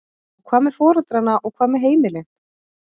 Og hvað með foreldrana og hvað með heimilin?